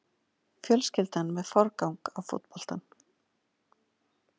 Fjölskyldan með forgang á fótboltann